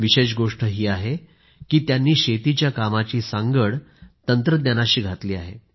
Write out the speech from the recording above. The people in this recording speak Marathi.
विशेष गोष्ट ही आहे की त्यांनी शेतीच्या कामाची सांगड तंत्रज्ञानाशी घातली आहे